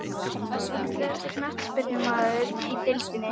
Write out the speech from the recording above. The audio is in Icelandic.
Fallegasti knattspyrnumaðurinn í deildinni???